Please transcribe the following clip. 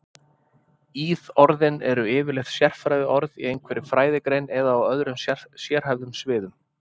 Íðorðin eru yfirleitt sérfræðiorð í einhverri fræðigrein eða á öðrum sérhæfðum sviðum.